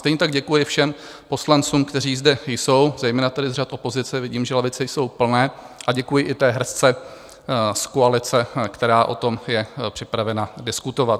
Stejně tak děkuji všem poslancům, kteří zde jsou, zejména tedy z řad opozice, vidím, že lavice jsou plné, a děkuji i té hrstce z koalice, která o tom je připravena diskutovat.